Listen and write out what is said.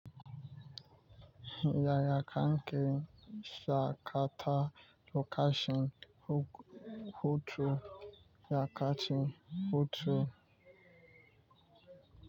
Yaya kanke sakata lokacin hutu, ya kacin hutu.